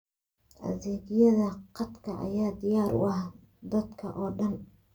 Adeegyada khadka ayaa diyaar u ah dadka oo dhan.